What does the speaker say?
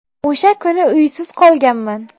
O‘sha kuni uysiz qolganman.